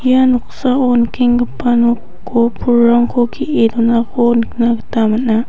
ia noksao nikenggipa nok-o pulrangko ge·e donako nikna gita man·a.